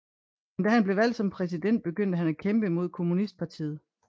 Men da han blev valgt som præsident begyndte han at kæmpe mod kommunistpartiet